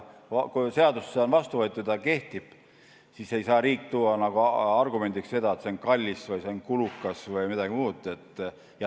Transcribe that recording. Kui seadus on vastu võetud ja see kehtib, siis ei saa riik tuua argumendiks seda, et see on kallis või see on kulukas või midagi muud.